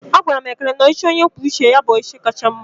A gwaram Ekene na ọchịchị onye kwuo uche ya bụ ọchịchị kacha mma